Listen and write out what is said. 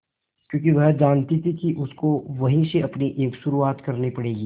क्योंकि वह जानती थी कि उसको वहीं से अपनी एक शुरुआत करनी पड़ेगी